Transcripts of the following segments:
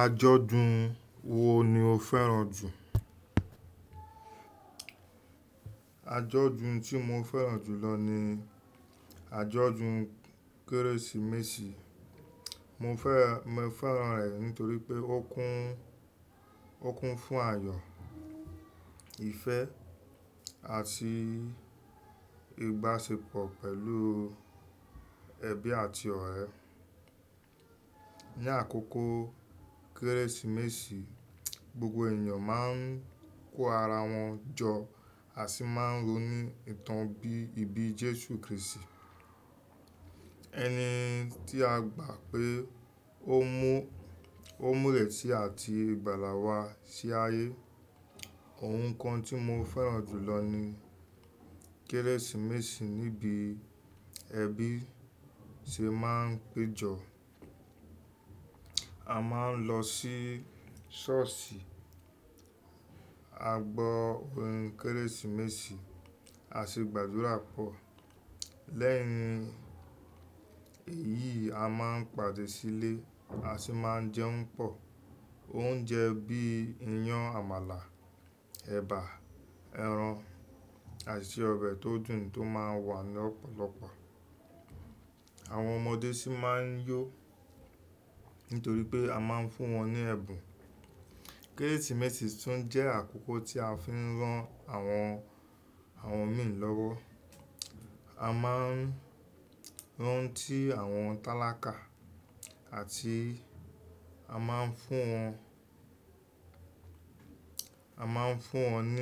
Ajọ́dun wo ni o fẹ́ràn jù? Ajọ́dun tí mo fẹ́ràn jù lọ ni ajọ́dun Kérésìmesì. Mo fẹ́ràn rẹ̀ nítorí pé ó kún fún ayọ̀, ìfẹ́, àti ìbáṣepọ̀ pẹ̀lú ẹbí àti ọ̀rẹ́. Ni àkókò Kérésìmesì, gbogbo èèyàn máa ń kó ara wọn jọ àti máa ń ronu ìtàn bí ibi Jésù Krístì, ẹni tí a gbà pé ó mú èsì àti ìgbàlà wa sí ayé. Ohun kan tí mo fẹ́ràn jù lọ ní Kérésìmesì ni bí ẹbí ṣe máa ń péjọ. A máa ń lọ sí ṣọ́ọ̀ṣì, a gbọ́ orin Kérésìmesì, à si gbàdúrà pọ̀. Lẹ́yìn èyí, a máa ń pàdé sílé, a sì máa ń jẹun pọ̀. Oúnjẹ bí i iyán àmàlà, ẹ̀bà, ẹran, àti ọbẹ̀ tó dùn tó máa wà ní ọ̀pọ̀lọpọ̀. Àwọn ọmọdé sì máa ń yó nítorí pé a máa ń fún wọn ní ẹ̀bùn. Kérésìmesì tún jẹ́ àkókò tí a fi ń rán àwọn miì lọ́wọ́. A máa ń rán tí àwọn tálákà àti a máa n fún won, a máa n fún won ni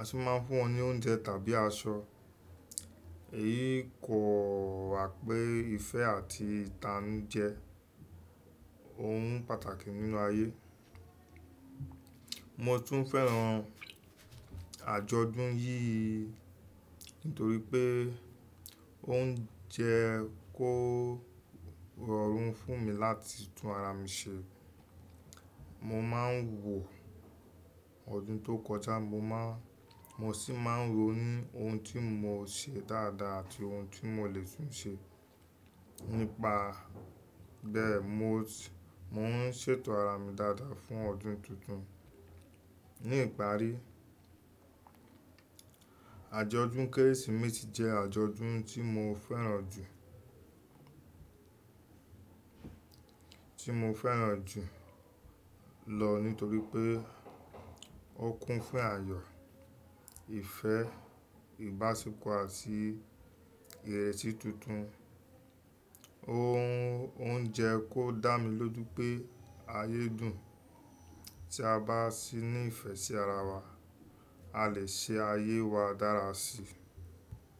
ń fún wọn ní oúnjẹ tàbí aṣọ. Èyí kò wa pé ìfẹ́ àti ìtanú jẹ́ ohun pàtàkì nínú ayé. Mo tún fẹ́ràn àjọ̀dún yìí nítorí pé ó ń jẹ́ kó rọrùn fún mi láti tún ara mi ṣe. Mo máa ń wò ọdún tó kọjá, mo sì máa ń ronu ohun tí mo ṣe dáadáa àti ohun tí mo le tún ṣe. Nípa bẹ́ẹ̀, mò ń ṣètò ara mi dáadáa fún ọdún tuntun. Ní ìparí, àjọ̀dún Kérésìmesì jẹ́ àjọ̀dún tí mo fẹ́ràn jù lọ nítorí pé ó kún fún ayọ̀, ìfẹ́, ìbáṣepọ̀, àti ìrẹsì tuntun. Ó ń jẹ́ kó dá mi lójú pé ayé dùn. Tí a bá ní ìfẹ́ sí ara wa, a lè ṣe ayé wa dára síi.